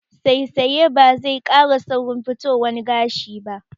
Saisaya ba zai ƙara saurin fitowan gashi ba